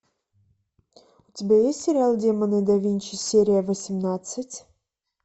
у тебя есть сериал демоны да винчи серия восемнадцать